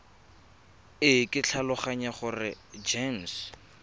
e ke tlhaloganya gore gems